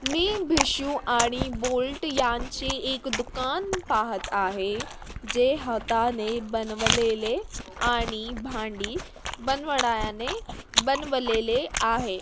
मी भिषू आणि बोल्ट यांचे एक दुकान पाहत आहे जे हाताने बनवलेले आणि भांडी बनवण्याने-बनवलेले आहे.